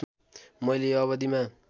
मैले यो अवधिमा